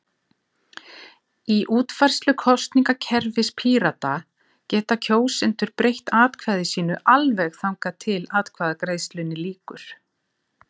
Í útfærslu kosningakerfis Pírata geta kjósendur breytt atkvæði sínu alveg þangað til atkvæðagreiðslunni lýkur.